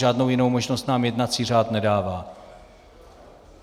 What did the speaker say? Žádnou jinou možnost nám jednací řád nedává.